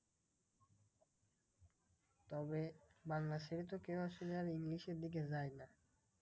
তবে বাংলা ছেড়ে তো কেউ আর ইংলিশের দিকে যায় না।